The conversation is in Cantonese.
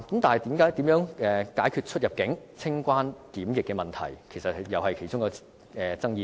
但是，如何解決出入境、清關及檢疫問題，也是其中一個爭議點。